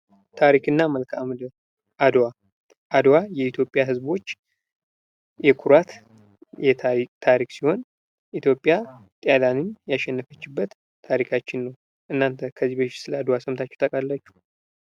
ታሪክና መልካም ምድር አድዋ አድዋ የኢትዮጵያ ህዝቦች የኩራት ታሪክ ሲሆን ኢትዮጵያ ጣሊያንን ያሸነፈችበት ታሪካችን ነው ።እናንተ ከዚህ በፊት ስለ አድዋ ሰምታችሁ ታቃላችሁ?